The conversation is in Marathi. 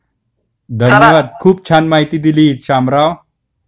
खूप छान माहिती दिलीत शामराव.